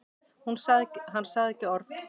Hann sagði ekki orð.